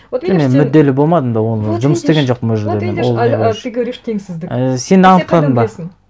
вот видишь сен мен мүдделі болмадым да оны жұмыс істеген жоқпын ол жерде мен ол а ты говоришь теңсіздік і сен анықтадың ба